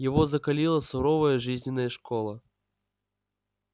его закалила суровая жизненная школа